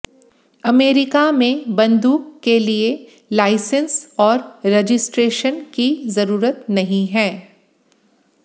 America में बंदूक के लिए लाइसेंस और रजिस्ट्रेशन की जरूरत नहीं है